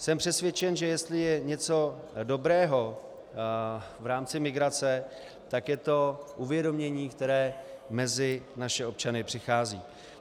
Jsem přesvědčen, že jestli je něco dobrého v rámci migrace, tak je to uvědomění, které mezi naše občany přichází.